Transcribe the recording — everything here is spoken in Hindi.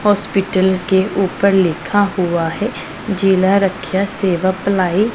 हॉस्पिटल के ऊपर लिखा हुआ है जिला रक्षा सेवा अप्लाई --